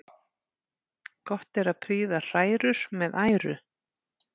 Gott er að prýða hrærur með æru.